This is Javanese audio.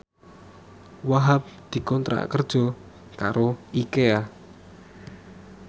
Wahhab dikontrak kerja karo Ikea